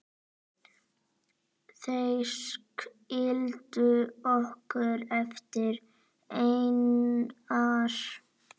Þeir skildu okkur eftir einar.